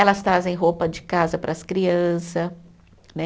Elas trazem roupa de casa para as crianças, né?